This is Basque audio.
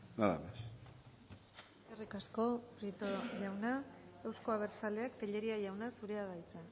nada más eskerrik asko prieto jauna euzko abertzaleak tellería jauna zurea da hitza